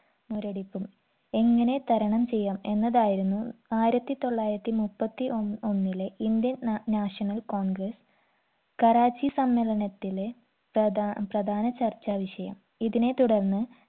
മുരടിപ്പും എങ്ങനെ തരണം ചെയ്യാം എന്നതായിരുന്നു ആയിരത്തി തൊള്ളായിരത്തി മുപ്പത്തി ഒ ഒന്നിലെ indian ന national congress കറാച്ചി സമ്മേളനത്തിലെ പ്രധാ പ്രധാന ചർച്ചാ വിഷയം ഇതിനെ തുടർന്ന്